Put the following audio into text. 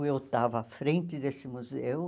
Eu estava à frente desse museu.